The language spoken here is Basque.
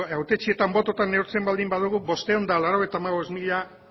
hautetsiak bototan neurtzen baldin badugu bostehun eta laurogeita hamabost mila